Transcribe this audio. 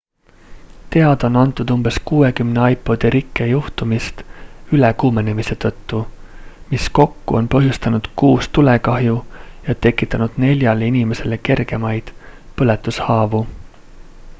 teada on antud umbes 60 ipodi rikke juhtumist ülekuumenemise tõttu mis kokku on põhjustanud kuus tulekahju ja tekitanud neljale inimesele kergemaid põletushaavu